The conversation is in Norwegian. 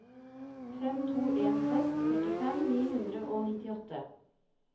fem to en seks førtifem ni hundre og nittiåtte